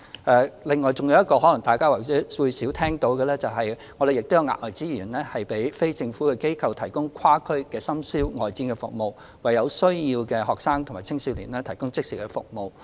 此外，還有一項大家可能較少聽聞的措施，就是提供額外資源，讓非政府機構提供跨區深宵外展服務，為有需要的學生及青少年提供即時服務。